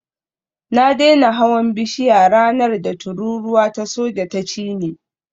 Na daina hawan bishiya ranar da tururuwa ta soja ta cini